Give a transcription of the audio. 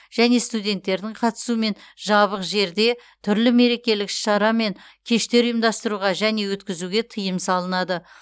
және студенттердің қатысуымен жабық жерде түрлі мерекелік іс шара мен кештер ұйымдастыруға және өткізуге тыйым салынады